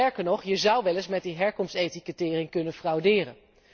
Sterker nog, je zou wel eens met die herkomstetikettering kunnen frauderen.